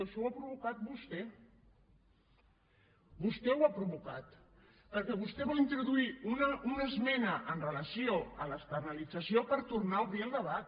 això ho ha provocat vostè vostè ho ha provocat perquè vostè va introduir una esmena en relació amb l’externalització per tornar a obrir el debat